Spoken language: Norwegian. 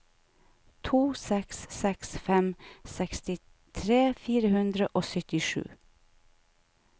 to seks seks fem sekstitre fire hundre og syttisju